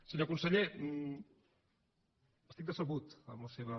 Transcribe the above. senyor conseller estic decebut amb la seva